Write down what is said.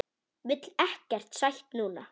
Vil ekkert sætt núna.